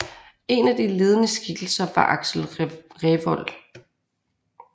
En af de ledende skikkelser var Axel Revold